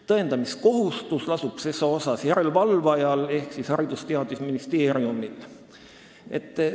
Tõendamiskohustus lasub ses asjas järelevalvajal ehk Haridus- ja Teadusministeeriumil.